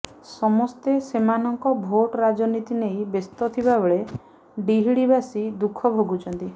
ସମସ୍ତେ ସେମାନଙ୍କ ଭୋଟ୍ ରାଜନୀତି ନେଇ ବ୍ୟସ୍ତ ଥିବାବେଳେ ତିହିଡିବାସୀ ଦୁଃଖ ଭୋଗୁଛନ୍ତି